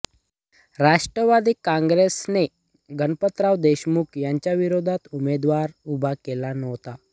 राष्ट्रवादी काँग्रेसने गणपतराव देशमुख यांच्याविरोधात उमेदवार उभा केला नव्हता